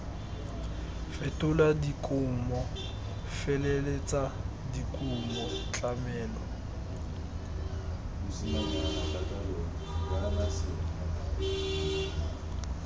fetola dikumo feleletsa dikumo tlamelo